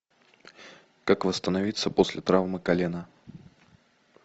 как восстановиться после травмы колена